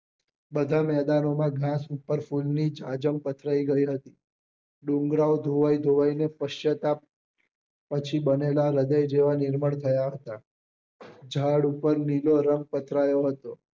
બધા મેદાનો માં ગાસ ઉપર ફૂલ ની જાજમ પથરાઈ ગઈ હતી ડુંગરા ઓ ધોવાઇ ધોવાઇ ને પર્સ્ચાતાપ પછી બનેલા હૃદય જેવા નિર્મલ થયા હતા ઝાડ પર નીલો રંગ પથરાયો હતો